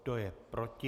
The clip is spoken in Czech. Kdo je proti?